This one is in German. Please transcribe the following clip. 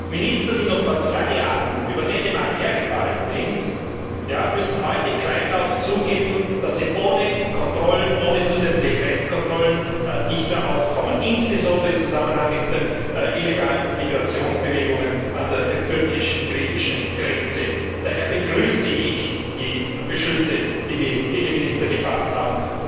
Minister, die noch vor zwei Jahren über Dänemark hergefallen sind, müssen heute kleinlaut zugeben, dass sie ohne zusätzliche Grenzkontrollen nicht mehr auskommen, insbesondere im Zusammenhang mit den illegalen Migrationsbewegungen an der türkisch griechischen Grenze. Daher begrüße ich die Beschlüsse, die die Innenminister gefasst haben.